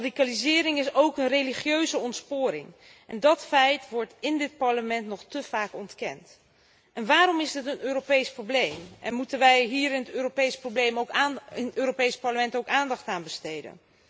Radicalisering is ook een religieuze ontsporing en dat feit wordt in dit Parlement nog te vaak ontkend. En waarom is het een Europees probleem en moeten wij hier in het Europees Parlement ook aandacht aan besteden?